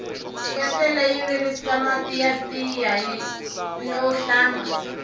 ketlele yi virisa mati ya tiya no hlamba